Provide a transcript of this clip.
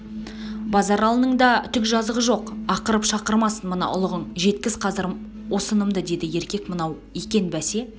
базаралының да түк жазасы жоқ ақырып-шақырмасын мына ұлығың жеткіз қазір осынымды деді еркек мынау екен бәсе